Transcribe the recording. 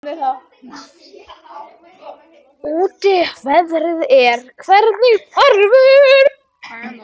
Tarfur, hvernig er veðrið úti?